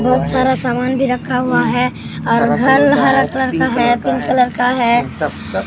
बहुत सारा सामान भी रखा हुआ है और घल है हरा कलर का है पिंक कलर का है।